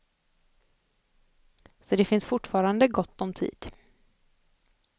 Så det finns fortfarande gott om tid.